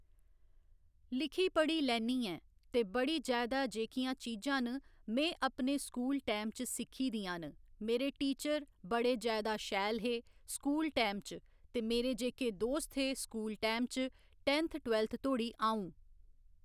लिखी पढ़ी लैन्नी ऐं ते बड़ी जैदा जेह्कियां चीजां न में अपने स्कूल टाईम च सिक्खी दियां न मेरे टीचर बड़े जैदा शैल हे स्कूल टाईम च ते मेरे जेह्‌के दोस्त हे स्कूल टाईम च टैन्थ टवैल्थ धोड़ी अ'ऊं